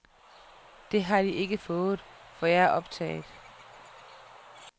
Det har de ikke fået, for jeg er optaget.